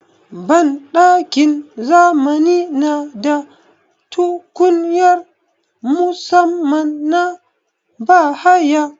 Banɗakin zamani na da tukunya musaman na bahaya.